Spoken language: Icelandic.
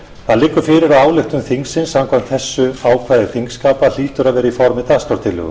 það liggur fyrir að ályktun þingsins samkvæmt þessu ákvæði þingskapa hlýtur að vera í formi dagskrártillögu